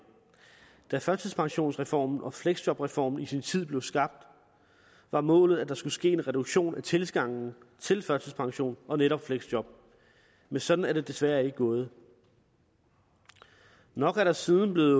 da førtidspensionsreformen og fleksjobreformen i sin tid blev skabt var målet at der skulle ske en reduktion af tilgangen til førtidspension og netop fleksjob men sådan er det desværre ikke gået nok er der siden blevet